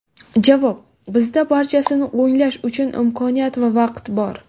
Javob: Bizda barchasini o‘nglash uchun imkoniyat va vaqt bor.